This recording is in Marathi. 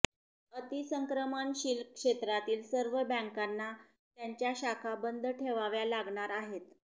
अतिसंक्रमणशील क्षेत्रातील सर्व बॅंकांना त्यांच्या शाखा बंद ठेवाव्या लागणार आहेत